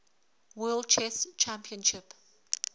world chess championship